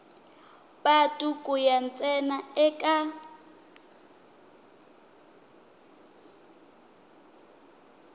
patu ku ya ntsena eka